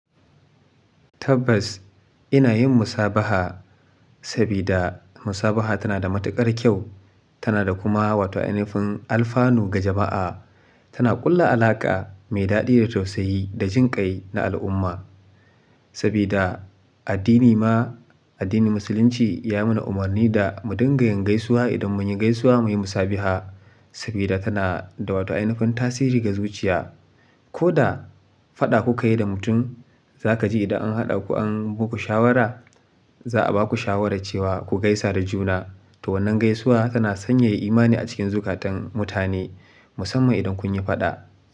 Tabbas ina yin musabaha sabida musabaha tana da matuƙar kyau, tana da kuma wato ainafin alfanu ga jama'a. Tana ƙulla alaƙa mai daɗi da tausayi da jinƙai na al'umma. Sabida addini ma, addinin musulunci ya mana umarni da mu dinga yin gaisuwa idan mun yi gaisuwa muyi musabiha sabida tana da wata inufin tasiri ga zuciya. Ko da faɗa kuka yi da mutum, za ka ji idan an haɗa ku an baku shawara, za a baku shawara cewa ku gaisa da juna. To wannan gaisuwa tana sanyaya imani a cikin zukatan mutane musamman idan kun yi faɗa.